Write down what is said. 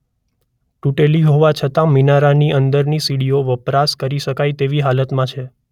તૂટેલી હોવા છતાં મિનારાની અંદરની સીડીઓ વપરાશ કરી શકાય તેવી હાલતમાં છે.